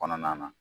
Kɔnɔna na